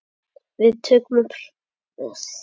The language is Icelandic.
Við tökum upp þráðinn seinna.